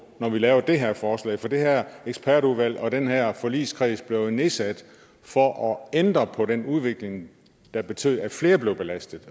når vi laver det her forslag for det her ekspertudvalg og den her forligskreds blev jo nedsat for at ændre på den udvikling der betød at flere blev belastet